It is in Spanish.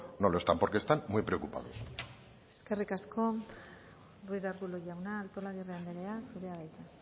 no lo está porque están muy preocupados eskerrik asko ruiz de arbulo jauna artolazabal andrea zurea da hitza